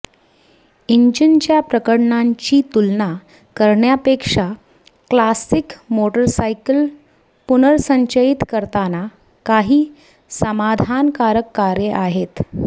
इंजिनच्या प्रकरणांची तुलना करण्यापेक्षा क्लासिक मोटरसायकल पुनर्संचयित करताना काही समाधानकारक कार्ये आहेत